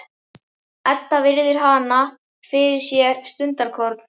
Edda virðir hana fyrir sér stundarkorn.